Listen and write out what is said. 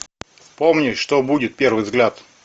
вспомни что будет первый взгляд